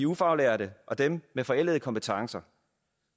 ufaglærte og dem med forældede kompetencer